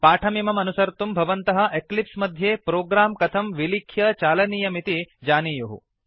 पाठमिमम् अनुसर्तुं भवन्तः एक्लिप्स् मध्ये प्रोग्राम् कथं विलिख्य चालनीयमिति जानीयुः